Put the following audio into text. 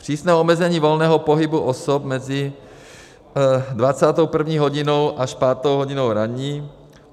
přísné omezení volného pohybu osob mezi 21. hodinou až 5. hodinou ranní,